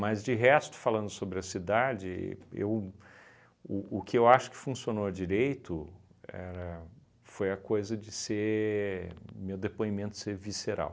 de resto, falando sobre a cidade, eu o o que eu acho que funcionou direito era foi a coisa de ser meu depoimento ser visceral.